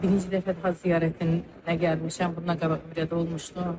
Birinci dəfədir Həcc ziyarətinə gəlmişəm, bundan qabaq ümrədə olmuşdum.